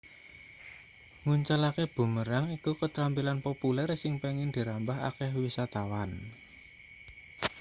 nguncalake boomerang iku ketrampilan populer sing pengin dirambah akeh wisatawan